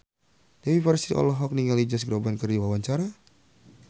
Dewi Persik olohok ningali Josh Groban keur diwawancara